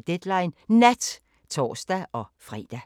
02:25: Deadline Nat (tor-fre)